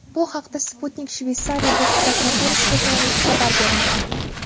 Bu haqda Sputnik Shveysariya Bosh prokuraturasiga tayanib xabar bermoqda .